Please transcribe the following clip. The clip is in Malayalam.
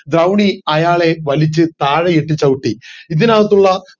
ദ്രൗണി അയാളെ വലിച്ചു താഴെ ഇട്ട് ചവിട്ടി ഇതിനകത്തുള്ള